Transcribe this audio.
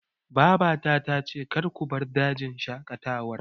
Mama na ta ce 'Kar ku bar dajin shaƙatawar